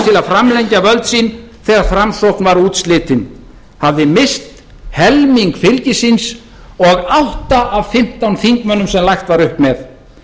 framlengja völd sín þegar framsókn var útslitin hafði misst helming fylgis síns og átta af fimmtán þingmönnum sem lagt var upp með